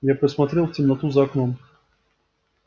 я посмотрел в темноту за окном